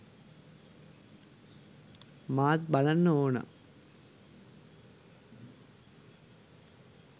මාත් බලන්න ඕනා